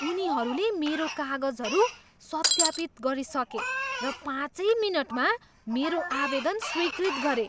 उनीहरूले मेरो कागजहरू सत्यापित गरिसके र पाँचै मिनटमा मेरो आवेदन स्वीकृत गरे!